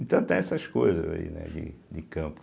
Então tem essas coisas aí, né, de de campo.